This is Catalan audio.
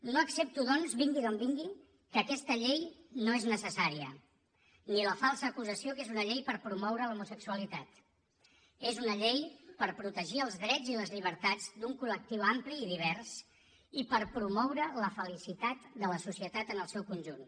no accepto doncs vingui d’on vingui que aquesta llei no és necessària ni la falsa acusació que és una llei per promoure l’homosexualitat és una llei per protegir els drets i les llibertats d’un col·societat en el seu conjunt